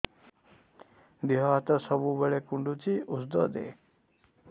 ଦିହ ହାତ ସବୁବେଳେ କୁଣ୍ଡୁଚି ଉଷ୍ଧ ଦେ